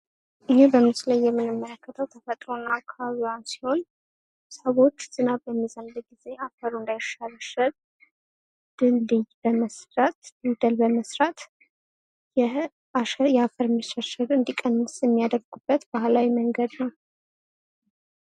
ይሄ በምስሉ ላይ የምንመለከተው ተፈጥሮ እና አካባቢዋን ሲሆን ሰዎች ዝናብ በሚዘንብ ጊዜ አፈሩ እንዳይሸረሸር ድልድይ በመስራት እርከት በመስራት የአፈር መሸርሸር እንድትቀንስ የሚያደርጉበት ባህላዊ መንገድ ነው።